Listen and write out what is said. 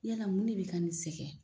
Yala mun de bɛ ka nin sɛgɛn.